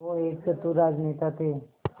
वो एक चतुर राजनेता थे